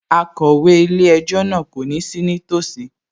Akọ̀wé ilé-ẹjọ́ náà kò ní sí nítòsí